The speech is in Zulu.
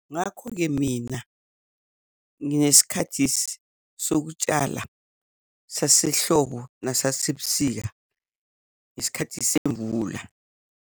Ngakho-ke mina nginesikhathi sokutshala sasehlobo nesasebusika, nesikhathi semvula.